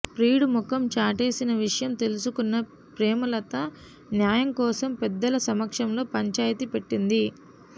ప్రియుడు ముఖం చాటేసిన విషయం తెలుసుకున్న ప్రేమలత న్యాయం కోసం పెద్దల సమక్షంలో పంచాయితి పెట్టింది